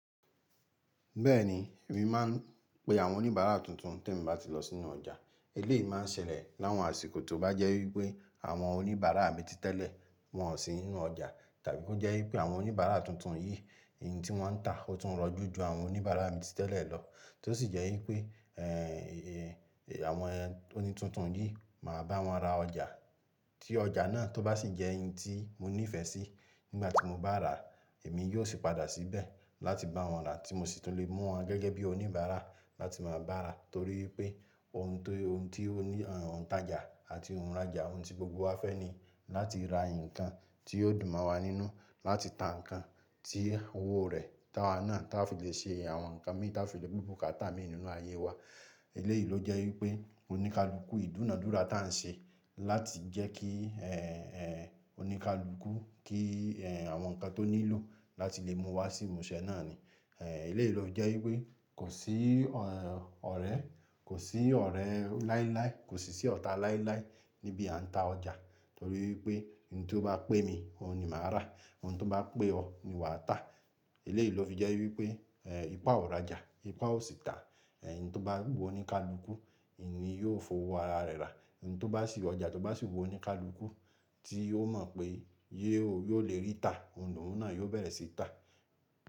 Bẹ́ẹ̀ ni èmi máa ń pe àwọn oníbàárà tuntun tèmi bá ti lọ sínú ọjà. Eléyìí máa ń ṣẹlẹ̀ láwọn àsìkò tó bá jẹ́ wípé àwọn oníbàárà mi títẹ́lẹ̀ wọ́n ò sí nínú ọjà tàbí kó jẹ́ wípé àwọn oníbàárà tuntun yìí èyí tí wọ́n ń tà ó tún rọjú ju àwọn oníbàárà mi títẹ́lẹ̀ lọ. Tó sì jẹ́ wípé, àwọn oní tuntun yìí, màá bá wọn ra ọjà. Tí ọjà náà tó bá sì jẹ́ n tí mo nífẹ̀ẹ́ sí nígbà tí mo bá ràá, èmi yóò sì padà síbẹ̀ láti bá wọn rà tí mo sì tún lè mú wọn gẹ́gẹ́ bí oníbàárà láti máa bá rà torí wípé ohun tó, ohun tí oní, òǹtajà àti ohunràjà, ohun tí gbogbo wa fẹ́ ni láti ra ǹnkan tí yóò dùn mọ́ wa nínú, láti ta nǹkan tí owó rẹ̀ táwa náà táa fi lè ṣe àwọn nǹkan mí táa fi lè gbó bukátá mi nínú ayé wa. Eléyìí ló jẹ́ wípé oníkálukú, ìdúnàádúrà ta ń ṣe láti jẹ́ kí, oníkálukú kí, àwọn ǹnkan tó nílò láti lè mú wá sí ìmúṣẹ náà ni. Eléyìí ló jẹ́ wípé kò sí, ẹ́ n, ọ̀rẹ́, kò sí ọ̀rẹ́ láíláí, kò sì sí ọ̀tá láíláí níbi à ń ta ọjà torí wípé oun tí ó maá pẹ́ mi, òun ni màá rà. Ohun tí ó bá pẹ́ ọ ni wàá tà. Eléyìí ló fi jẹ́ wípé, ipá ò ràjà, ipá ò sì tà. N tó bá wù oníkálukú, n ní yóò fowó ara rẹ̀ rà. N tó bá sì ọjà tó bá sì wù oníkálukú tí ó mọ̀ pé yé ó, yóò lè rí tà, ohun ni òun náà yóò bẹ̀rẹ̀ sí í tà.